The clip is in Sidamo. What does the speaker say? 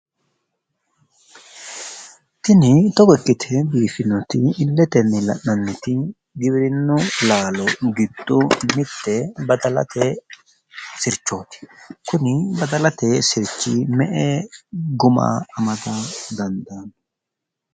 Tini togo ikkite biiffinoti illetenni la'nanniti giwirinnu laalo giddo mitte badalate sirchooti, kuni badalate sirchi me" e guma amada dandaanno?